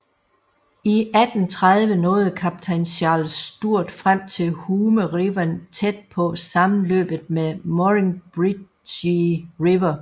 I 1830 nåede kaptajn Charles Sturt frem til Hume River tæt på sammenløbet med Murrumbidgee River